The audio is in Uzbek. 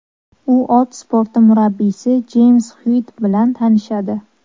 U ot sporti murabbiysi Jeyms Xyuitt bilan tanishadi.